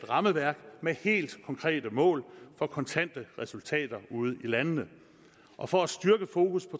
rammeværk med helt konkrete mål for kontante resultater ude i landene og for at styrke fokus